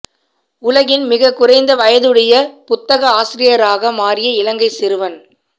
உலகின் மிக குறைந்த வயதுடைய புத்தக ஆசிரியராக மாறிய இலங்கை சிறுவன்